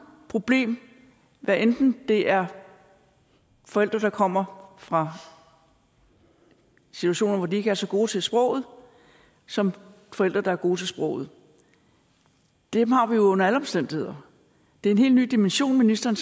problem hvad enten det er forældre der kommer fra situationer hvor de ikke er så gode til sproget som forældre der er gode til sproget dem har vi jo under alle omstændigheder det er en helt ny dimension ministeren